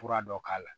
Fura dɔ k'a la